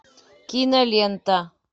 кинолента